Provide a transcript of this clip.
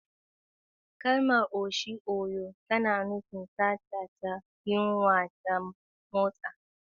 Kalmar "Oshi aguo" tana nufin sata da yunwa ta motsa.